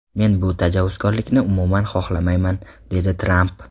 Men bu tajovuzkorlikni umuman xohlamayman”, dedi Tramp.